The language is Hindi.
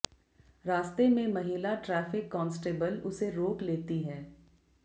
रास्ते में महिला ट्रैफिक कॉन्सटेबल उसे रोक लेती है